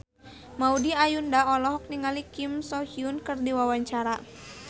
Maudy Ayunda olohok ningali Kim So Hyun keur diwawancara